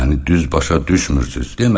Məni düz başa düşmürsünüz.